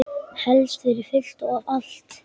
Helst fyrir fullt og allt.